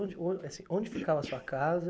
Onde on, assim, onde ficava a sua casa?